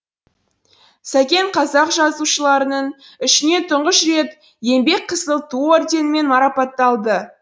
сәкен қазақ жазушыларының ішінен тұңғыш рет еңбек қызыл ту орденімен марапатталды